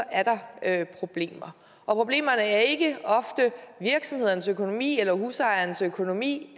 at der er problemer og problemerne er ikke ofte virksomhedernes økonomi eller husejernes økonomi